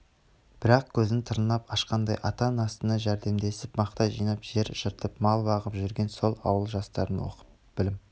бірақ көзін тырнап ашқаннан ата-анасына жәрдемдесіп мақта жинап жер жыртып мал бағып жүрген сол ауыл жастарының оқып білім